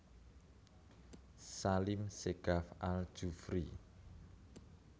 Salim Segaf Al Jufri